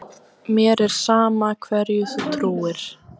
Mér er sama hverju þú trúir.